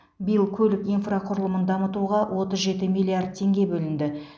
биыл көлік инфрақұрылымын дамытуға отыз жеті миллиард теңге бөлінді